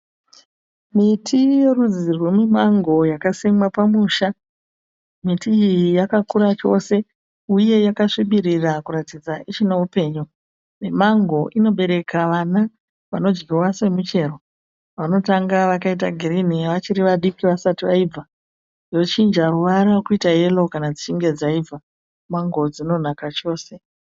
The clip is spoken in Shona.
Miti yorudzi romumango yakasimwa pamusha. Miti iyi yakakura chose uye yakasvibirira kuratidza kuti ichine upenyu. Mimango inobereka vana vanodyiwa semichero. Vanotanga vakaita girinhi vachiri vadiki vasati vaibva yochinja ruvara yoita yero kana dzichinge dzaibva. Mango dzinonaka chose.